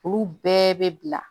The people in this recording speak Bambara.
Olu bɛɛ bɛ bila